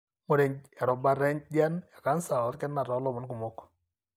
Ingura erubata enjian ecanser olkina to lomon kumok.